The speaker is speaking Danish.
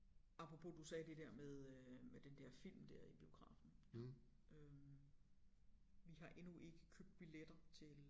Apropos du sagde det der med øh med den der film der i biografen øh vi har endnu ikke købt billetter til